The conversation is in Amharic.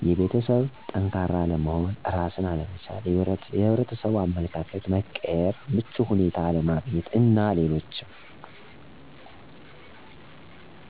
የቤተሠብ ጠንካራ አለመሆን፣ እራስን አለመቻል፣ የሕብረተሠቡ አመለካከት መቀየር፣ ምቹ ሁኔታ አለማግኘት አና ሌሎችም